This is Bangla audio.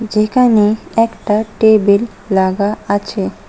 যেখানে একটা টেবিল লাগা আছে।